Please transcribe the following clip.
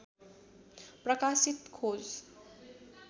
प्रकाशित खोज